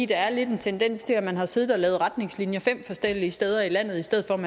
der er lidt en tendens til at man har siddet og lavet retningslinjer fem forskellige steder i landet i stedet for at